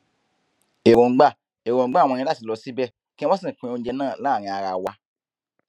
èròǹgbà èròǹgbà wọn ni láti lọ síbẹ kí wọn sì pín oúnjẹ náà láàrin ara wa